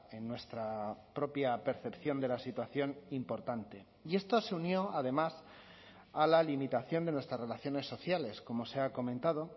en nuestra propia percepción de la situación importante y esto se unió además a la limitación de nuestras relaciones sociales como se ha comentado